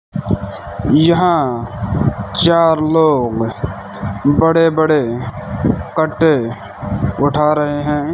यहां चार लोग बड़े बड़े कट्टे उठा रहे हैं।